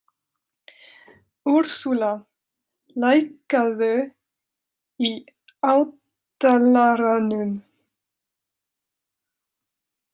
Úrsúla, lækkaðu í hátalaranum.